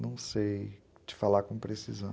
Não sei te falar com precisão.